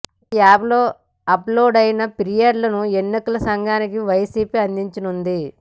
ఈ యాప్ లో అప్ లోడైన ఫిర్యాదులను ఎన్నికల సంఘానికి వైసీపీ అందించనుంది